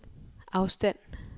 afstand